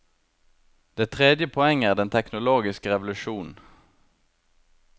Det tredje poenget er den teknologiske revolusjonen.